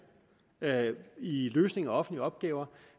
i løsning af offentlige opgaver